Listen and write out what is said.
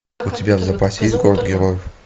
у тебя в запасе есть город героев